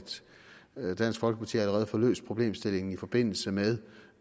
dansk folkeparti allerede får løst problemstillingen i forbindelse med